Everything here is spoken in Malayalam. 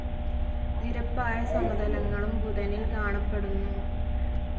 നിരപ്പായ സമതലങ്ങളും ബുധനിൽ കാണപ്പെടുന്നു.